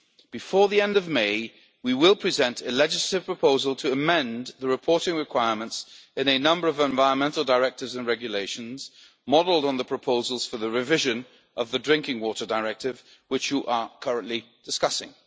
Before the end of May, we will present a legislative proposal to amend the reporting requirements in a number of environmental directives and regulations modelled on the proposals for the revision of the Drinking Water Directive which you are currently discussing.